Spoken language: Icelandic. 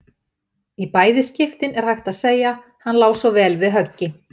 Í bæði skiptin er hægt að segja: Hann lá svo vel við höggi.